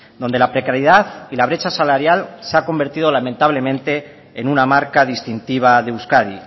donde la precariedad y la brecha salarial se han convertido lamentablemente en una marca distintiva de euskadi